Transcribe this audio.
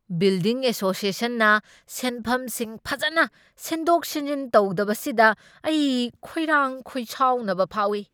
Building ꯑꯦꯁꯣꯁ꯭ꯌꯦꯁꯟꯅ ꯁꯦꯟꯐꯝꯁꯤꯡ ꯐꯖꯅ ꯁꯤꯟꯗꯣꯛ ꯁꯤꯟꯖꯤꯟ ꯇꯧꯗꯕꯁꯤꯗ ꯑꯩ ꯈꯣꯏꯔꯥꯡ ꯈꯣꯏꯁꯥꯎꯅꯕ ꯐꯥꯎꯏ꯫